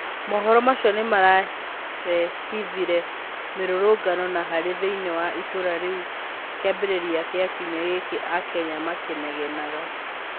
Mohoro macio nĩmarehithirie mĩrũrũngano na haro thĩiniĩ wa ĩtũra rĩu kĩambĩrĩria kĩa kiumĩa gĩkĩ aKenya makĩnegenaga.